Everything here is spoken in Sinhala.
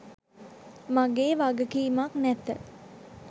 මගේ වගකීමක් නැත.